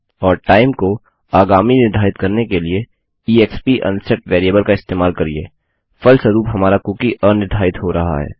और टाइम को आगामी निर्धारित करने के लिए ईएक्सपी अनसेट वेरिएबल का इस्तेमाल करिये फलस्वरूप हमारा कुकी अनिर्धारित हो रहा है